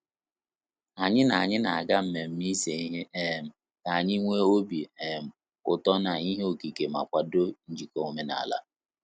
Anyị na Anyị na aga mmemme ise ihe um ka anyị nwe obi um ụtọ na ihe okike ma kwado njiko omenala